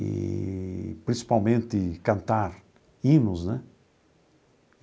Eee principalmente cantar hinos, né?